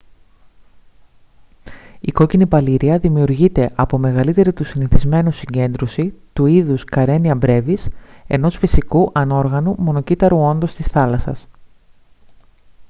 η κόκκινη παλίρροια δημιουργείται από μεγαλύτερη του συνηθισμένου συγκέντρωση του είδους karenia brevis ενός φυσικού ανόργανου μονοκύτταρου όντος της θάλασσας